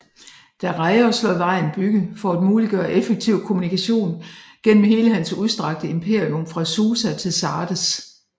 Dareios lod vejen bygge for at muliggøre effektiv kommunikation gennem hele hans udstrakte imperium fra Susa til Sardes